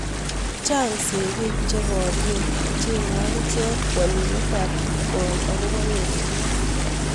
Chang segeik cheparie kochengee akichek walunet ab kipkoi akopoo erenook